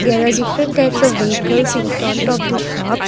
there are different types of vehicles in front of the shop.